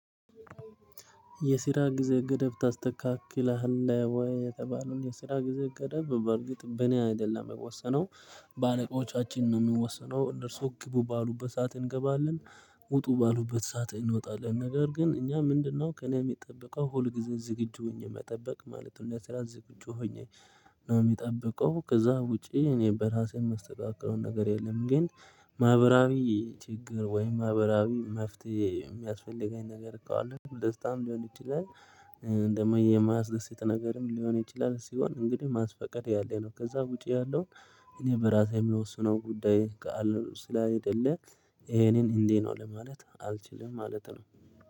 የስራ ጊዜ ገደብ ታስተካክላለህ ወይ? የተባለው የስራ ጊዜ ገደብ በእርግጥ በእኔ አይደለም ሚወሰነው በአለቆቻችን ነው ሚወሰነው እነርሱ ግቡ ባሉበት ሰዓት እንገባለን ውጡ ባሉበት ሰዓት እንወጣለን። ነገር ግን እኛ ምንድነው ከእኔ የሚጠበቀው ሁል ጊዜ ዝግጁ ሆኜ መጠበቅ ማለት ነው። ለስራ ዝግጁ ሆኜ ነው የምጠብቀው ከዛ ውጪ እኔ በራሴ የማስተካክለው ነገር የለም ግን ማህበራዊ ችግር ወይም ማህበራዊ መፍትሄ የሚያስፈልገኝ ነገር እኮ አለ። ደስታም ሊሆን ይችላል ደግሞ የማያስደስት ነገርም ሊሆን ይችላል ሲሆን እንግዲህ ማስፈቀድ ያለ ነው። ከዛ ውጪ ያለው እኔ በራሴ የምወስነው ጉዳይ ስላይደለ ይሄንን እንዲህ ነው ለማለት አልችልም ማለት ነው